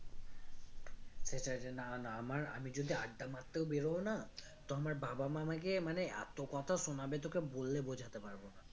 সেটাই যে না না আমার আমি যদি আড্ডা মারতেও বেরোই না তো আমার বাবা মা আমাকে মানে এত কথা শোনাবে তোকে বলে বোঝাতে পারবো না